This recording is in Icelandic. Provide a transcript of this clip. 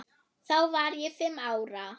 Þá var ég fimm ára.